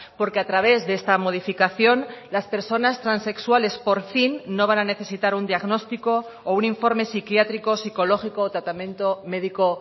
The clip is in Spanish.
porque a través de esta modificación las personas transexuales por fin no van a necesitar un diagnóstico o un informe psiquiátrico psicológico o tratamiento médico